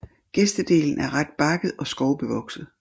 Gestdelen er ret bakket og skovbevokset